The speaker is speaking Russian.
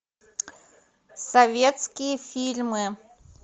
советские фильмы